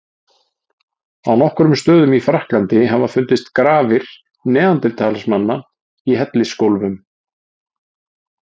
Á nokkrum stöðum í Frakklandi hafa fundist grafir neanderdalsmanna í hellisgólfum.